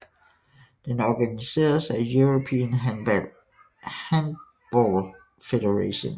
Den organiseredes af European Handball Federation